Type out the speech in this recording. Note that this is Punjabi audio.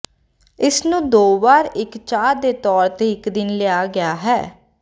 ਇਸ ਨੂੰ ਦੋ ਵਾਰ ਇੱਕ ਚਾਹ ਦੇ ਤੌਰ ਤੇ ਇੱਕ ਦਿਨ ਲਿਆ ਗਿਆ ਹੈ